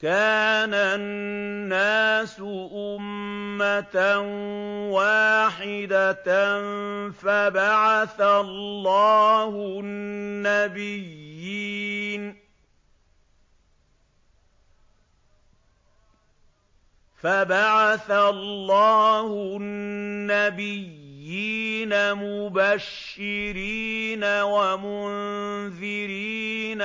كَانَ النَّاسُ أُمَّةً وَاحِدَةً فَبَعَثَ اللَّهُ النَّبِيِّينَ مُبَشِّرِينَ وَمُنذِرِينَ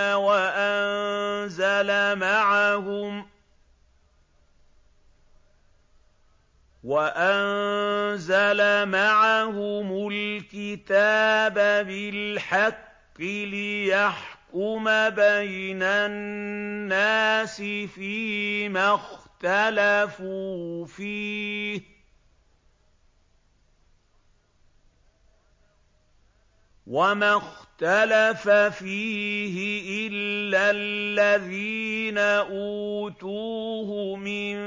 وَأَنزَلَ مَعَهُمُ الْكِتَابَ بِالْحَقِّ لِيَحْكُمَ بَيْنَ النَّاسِ فِيمَا اخْتَلَفُوا فِيهِ ۚ وَمَا اخْتَلَفَ فِيهِ إِلَّا الَّذِينَ أُوتُوهُ مِن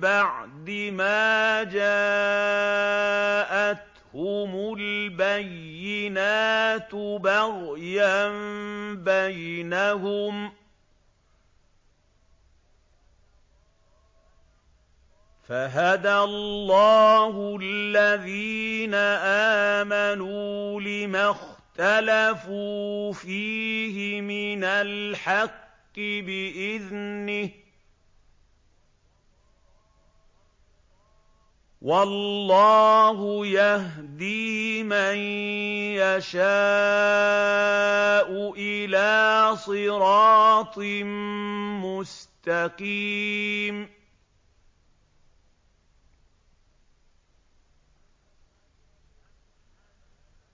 بَعْدِ مَا جَاءَتْهُمُ الْبَيِّنَاتُ بَغْيًا بَيْنَهُمْ ۖ فَهَدَى اللَّهُ الَّذِينَ آمَنُوا لِمَا اخْتَلَفُوا فِيهِ مِنَ الْحَقِّ بِإِذْنِهِ ۗ وَاللَّهُ يَهْدِي مَن يَشَاءُ إِلَىٰ صِرَاطٍ مُّسْتَقِيمٍ